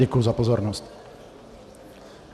Děkuji za pozornost.